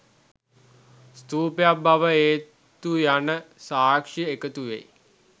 ස්තූපයක් බව ඒත්තු යන සාක්‍ෂි එකතු වෙයි.